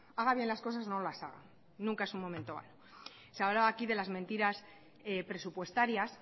haga bien las cosas o no las haga nunca es un momento malo se hablaba aquí de las mentiras presupuestarias